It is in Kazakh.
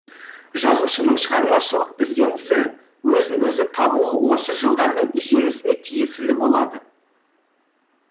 жазушының шығармашылық ізденісі өзін өзі табуы осы жылдардың жемісіне тиесілі болады